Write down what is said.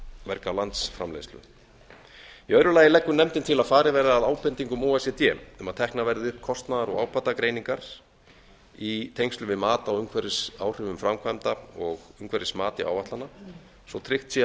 verga landsframleiðslu í öðru lagi leggur nefndin til að farið verði að ábendingum o e c d um að teknar verði upp kostnaðar og ábatagreiningar í tengslum við mat á umhverfisáhrifum framkvæmda og umhverfismati áætlana svo tryggt sé að